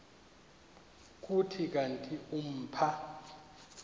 kuthi kanti umpha